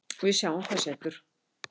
Við sjáum hvað setur